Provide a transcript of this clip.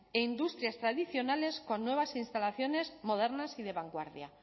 e industrias tradicionales con nuevas instalaciones modernas y de vanguardia